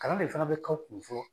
Kalan de fana be kaw kun fɔlɔ